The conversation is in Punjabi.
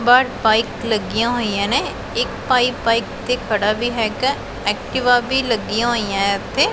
ਬਾਹਰ ਬਾਈਕ ਲੱਗੀਆਂ ਹੋਈਆਂ ਨੇ ਇੱਕ ਭਾਈ ਬਾਈਕ ਤੇ ਖੜਾ ਵੀ ਹੈਗਾ ਐਕਟੀਵਾ ਵੀ ਲੱਗੀਆਂ ਹੋਈਐਂ ਇੱਥੇ।